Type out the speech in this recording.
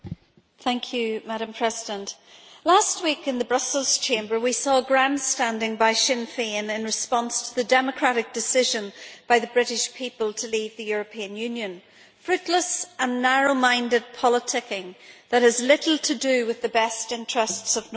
Madam President, last week in the Brussels Chamber, we saw grandstanding by Sinn Fein in response to the democratic decision by the British people to leave the European Union fruitless and narrow-minded politicking that has little to do with the best interests of Northern Ireland.